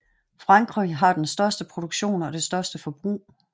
Frankrig har den største produktion og det største forbrug